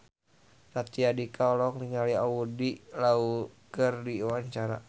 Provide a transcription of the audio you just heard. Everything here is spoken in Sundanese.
Raditya Dika olohok ningali Andy Lau keur diwawancara